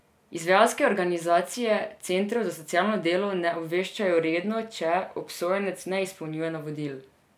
Izvajalske organizacije centrov za socialno delo ne obveščajo redno, če obsojenec ne izpolnjuje navodil.